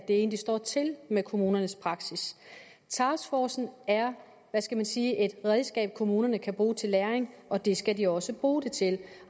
egentlig står til med kommunernes praksis taskforcen er hvad skal man sige et redskab som kommunerne kan bruge til læring og det skal de også bruge det til